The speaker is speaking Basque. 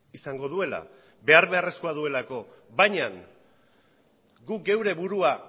izango duela behar beharrezkoa duelako baina guk gure burua